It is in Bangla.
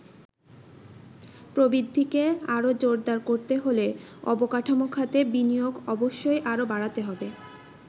প্রবৃদ্ধিকে আরো জোরদার করতে হলে অবকাঠামো খাতে বিনিয়োগ অবশ্যই আরো বাড়াতে হবে।